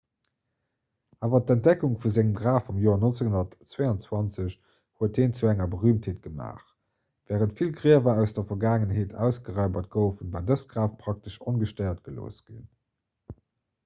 awer d'entdeckung vu sengem graf am joer 1922 huet hien zu enger berüümtheet gemaach wärend vill griewer aus der vergaangenheet ausgeraibert goufen war dëst graf praktesch ongestéiert gelooss ginn